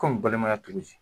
balimaya togo ji?